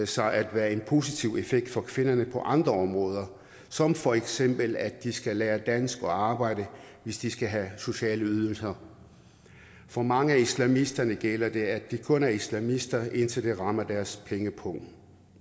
sig at have en positiv effekt for kvinderne på andre områder som for eksempel at de skal lære dansk og arbejde hvis de skal have sociale ydelser for mange af islamisterne gælder det at de kun er islamister indtil det rammer deres pengepung